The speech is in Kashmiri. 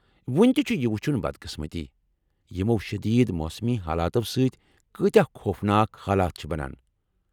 وُنہِ تہِ چُھ یہِ وُچُھن بدقسمتی ، یمو شدید موسمی حالاتو سۭتۍ كٲتیہِ خوفناك حالات چھِ بنان۔